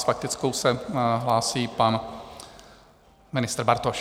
S faktickou se hlásí pan ministr Bartoš.